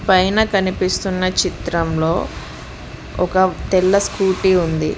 పైన కనిపిస్తున్న చిత్రంలో ఒక తెల్ల స్కూటీ ఉంది.